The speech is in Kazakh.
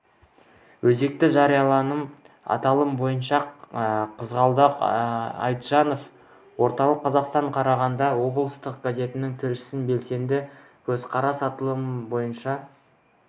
өзекті жарияланым аталымы бойынша қызғалдақ айтжанова орталық қазақстан қарағанды облыстық газетінің тілшісі белсенді көзқарас аталымы бойынша